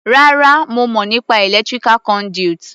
Rárá, mo mọ̀ nípa electrical conduit.